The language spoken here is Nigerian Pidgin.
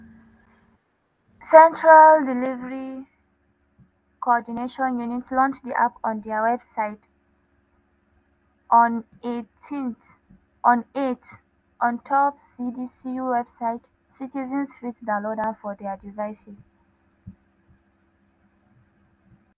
central delivery coordination unit launch di app on dia website; app.cdcu.gov.ngon april 8 ontop cdcu website citizens fit download am for dia devices.